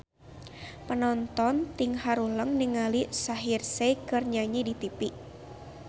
Panonton ting haruleng ningali Shaheer Sheikh keur nyanyi di tipi